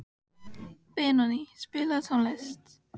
Benóný, spilaðu tónlist.